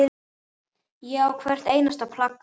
Ég á hvert einasta plakat.